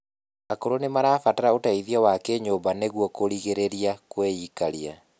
akũrũ nimarabatara ũteithio wa kinyumba nĩguo kurigirirĩa kwiikarĩa